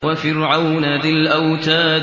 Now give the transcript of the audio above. وَفِرْعَوْنَ ذِي الْأَوْتَادِ